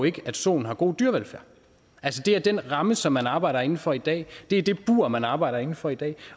ikke at soen har god dyrevelfærd altså det er den ramme som man arbejder inden for i dag det er det bur man arbejder inden for i dag